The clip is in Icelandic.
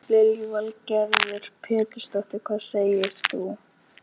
Lillý Valgerður Pétursdóttir: Hvað segir þú?